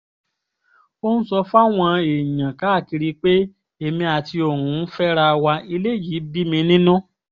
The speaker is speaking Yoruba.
ó ń sọ fáwọn èèyàn káàkiri pé èmi àti òun ń fẹ́ra wa eléyìí bí mi nínú